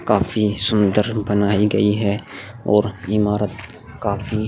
काफी सुंदर बनाई गई है और इमारत काफी --